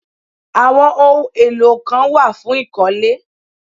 Àwọn ohun èlò kan wà fún ìkọ́lé